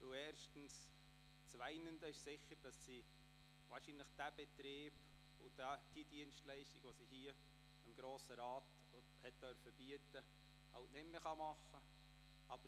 Das weinende Auge ist sicher, dass Frau Hofer diesen Betrieb und die Dienstleistung, die sie dem Grossen Rat bieten durfte, nicht mehr ausüben kann.